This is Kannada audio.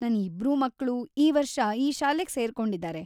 ನನ್ ಇಬ್ರೂ ಮಕ್ಳು ಈ ವರ್ಷ ಈ ಶಾಲೆಗ್ ಸೇರ್ಕೊಂಡಿದಾರೆ.